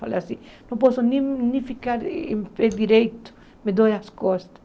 Falei assim, não posso nem nem ficar em pé direito, me dói as costas.